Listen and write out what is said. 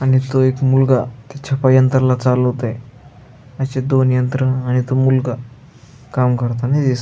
आणि तो एक मुलगा त्या छपायंत्रा ला चालवतोय अशे दोन यत्रंना आणि तो मुलगा काम करतानी दिस --